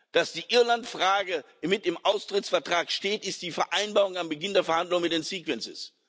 Dass die Irlandfrage mit im Austrittsvertrag steht, ist eine Vereinbarung am Beginn der Verhandlungen mit den sequences